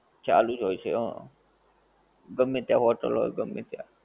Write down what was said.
ચાલુજ હોએ છે હા, ગમ્મે ત્યાં hotel હોએ, ગમ્મે ત્યાં